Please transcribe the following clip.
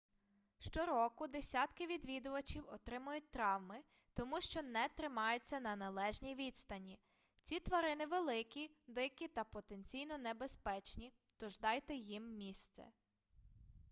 щороку десятки відвідувачів отримують травми тому що не тримаються на належній відстані ці тварини великі дикі та потенційно небезпечні тож дайте їм місце